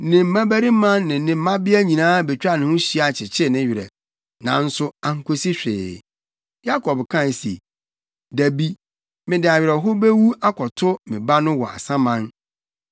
Ne mmabarima ne ne mmabea nyinaa betwaa ne ho hyia kyekyee ne werɛ, nanso ankosi hwee. Yakob kae se, “Dabi, mede awerɛhow bewu akɔto me ba no wɔ asaman.” Enti nʼagya Yakob suu no.